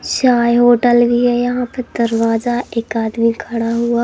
शाय hotel भी है यहां पे दरवाजा एक आदमी खड़ा हुआ--